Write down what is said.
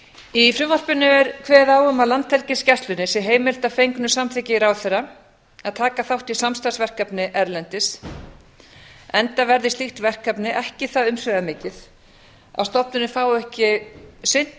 í frumvarpinu er kveðið á um að landhelgisgæslunni sé heimilt að fengnu samþykki ráðherra að taka þátt í samstarfsverkefni erlendis enda verði slíkt verkefni ekki það umsvifamikið að stofnunin fái ekki sinnt